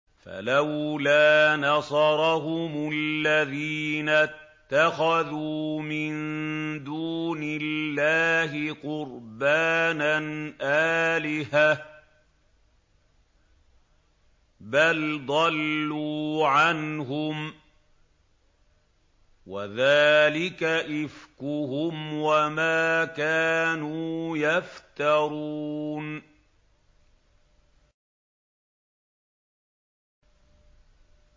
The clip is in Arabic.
فَلَوْلَا نَصَرَهُمُ الَّذِينَ اتَّخَذُوا مِن دُونِ اللَّهِ قُرْبَانًا آلِهَةً ۖ بَلْ ضَلُّوا عَنْهُمْ ۚ وَذَٰلِكَ إِفْكُهُمْ وَمَا كَانُوا يَفْتَرُونَ